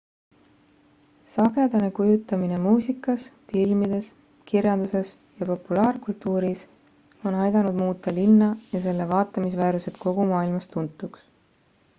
sagedane kujutamine muusikas filmides kirjanduses ja populaarkultuuris on aidanud muuta linna ja selle vaatamisväärsused kogu maailmas tuntuks